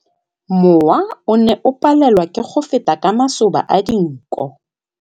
Mowa o ne o palelwa ke go feta ka masoba a dinko.